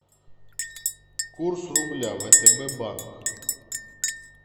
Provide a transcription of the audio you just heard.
курс рубля втб банк